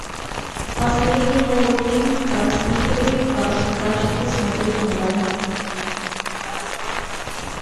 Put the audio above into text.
последний новый фильм про мстителей в хорошем качестве смотреть онлайн